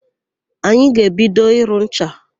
Anyị ga-ebido ịrụ ncha.